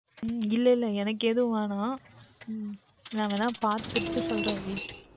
உம் இல்லை இல்லை எனக்கு எதுவும் வேண்டாம் நான் வேண்டுமென்றால் பார்த்துவிட்டு சொல்லுகின்றேன் Wait